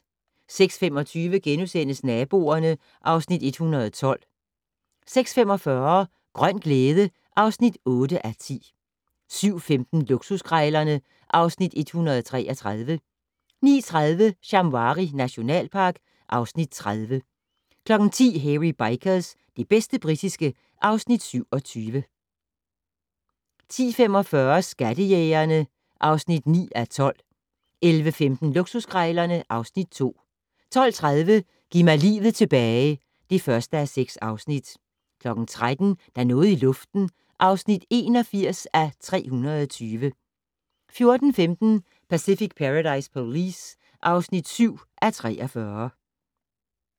06:25: Naboerne (Afs. 112)* 06:45: Grøn glæde (8:10) 07:15: Luksuskrejlerne (Afs. 133) 09:30: Shamwari nationalpark (Afs. 30) 10:00: Hairy Bikers - det bedste britiske (Afs. 27) 10:45: Skattejægerne (9:12) 11:15: Luksuskrejlerne (Afs. 2) 12:30: Giv mig livet tilbage (1:6) 13:00: Der er noget i luften (81:320) 14:15: Pacific Paradise Police (7:43)